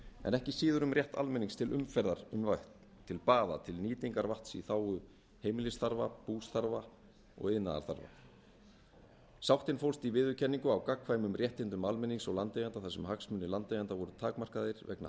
en ekki síður um rétt almennings til umferðar um vatn til baða til nýtingar vatns í þágu heimilisstarfa bústarfa og iðnaðarstarfa sáttin fólst í viðurkenningu á gagnkvæmum réttindum almennings og landeigenda þar sem hagsmunir landeigenda voru takmarkaðir vegna